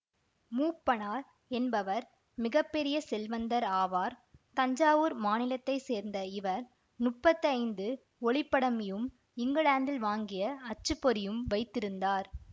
மூப்பனார் என்பவர் மிக பெரிய செல்வந்தர் ஆவார் தஞ்சாவூர் மாநிலத்தை சேர்ந்த இவர் முப்பத்தைந்து ஒளிப்படமியும் இங்கிலாந்தில் வாங்கிய அச்சு பொறியும் வைத்திருந்தார்